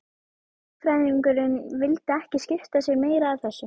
Lögfræðingurinn vildi ekki skipta sér meira af þessu.